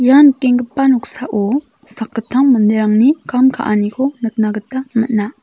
ia nikenggipa noksao sakgittam manderangni kam ka·aniko nikna gita man·a.